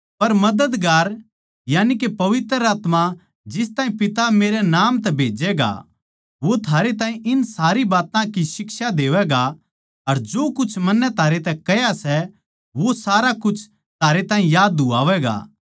पर मददगार यानिके पवित्र आत्मा जिस ताहीं पिता मेरै नाम तै भेज्जैगा वो थारै ताहीं इन सारी बात्तां की शिक्षा देवैगा अर जो कुछ मन्नै थारै तै कह्या सै वो सारा कुछ थारै ताहीं याद दुआवैगा